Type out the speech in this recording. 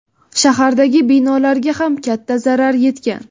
Shahardagi binolarga ham katta zarar yetgan.